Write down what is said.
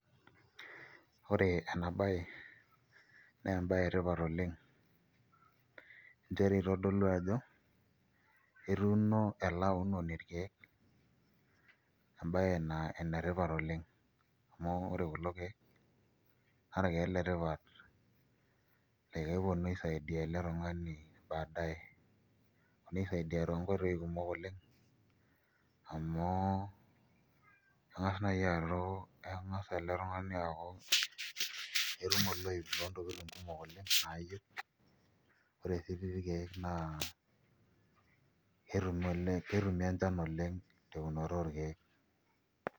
Ore ena baye naa embaye etipat oleng' nchere itodolua ajo etuuno ele aunoni irkeek embaye naa enetipat oleng' amu ore kulo keek naa irkeek letipat laa keponu aisaidia ele tung'ani baadae eponu aisaidia toonkoitoi kumok oleng' amu eng'as ele tung'ani aaku etum oloip loontokitin kumok oleng' naayieu ore sii tii irkeek naa ketumi enchan oleng' teunoto orkeek.